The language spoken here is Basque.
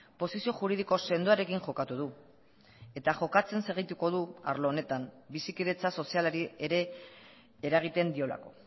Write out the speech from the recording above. posizio juridiko sendoarekin jokatu du eta jokatzen segituko du arlo honetan bizikidetza sozialari ere eragiten diolako